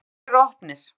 Leikirnir er opnir.